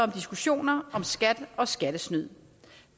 diskussioner om skat og skattesnyd